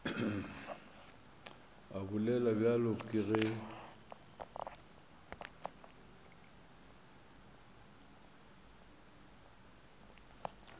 a bolela bjalo ke ge